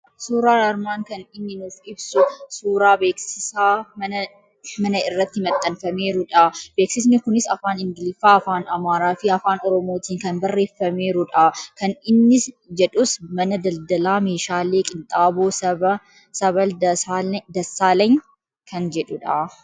Suuraan armaan kan inni nuuf ibsu suuraa beeksisaa mana irratti maxxanfameerudha. Beeksisni kunis afaan Ingliffaa, Afaan Amaaraa fi Afaan Oromootiin kan barreeffameerudha. Kan inni jedhus Mana Daldalaa Meeshaalee Qinxaaboo Sabal Dasaalany kan jedhudha.